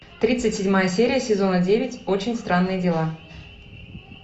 тридцать седьмая серия сезона девять очень странные дела